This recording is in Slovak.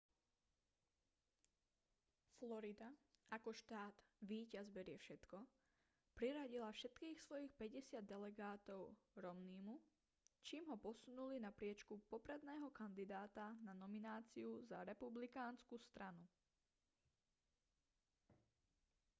florida ako štát víťaz berie všetko priradila všetkých svojich päťdesiat delegátov romneymu čím ho posunuli na priečku popredného kandidáta na nomináciu za republikánsku stranu